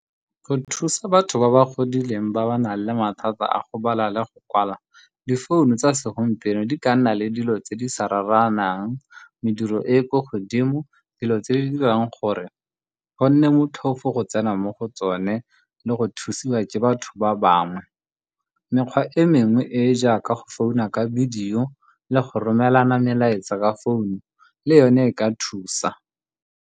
Go thusa batho ba ba godileng ba ba nang le mathata a go bala le go kwala, difounu tsa segompieno di ka nna le dilo tse di sa raranang, mediro e e kwa godimo, le dilo tse di dirang gore go nne motlhofo go tsena mo go tsone le go thusiwa ke batho ba bangwe. Mekgwa e mengwe e e jaaka go founa ka video le go romelana melaetsa ka founu, le yone e ka thusa.